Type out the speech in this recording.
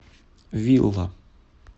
вилла